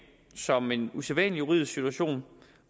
som en usædvanlig juridisk situation